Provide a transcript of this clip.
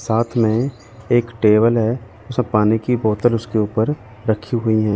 साथ में एक टेबल है सब पानी की बोतल उसके ऊपर रखी गई है।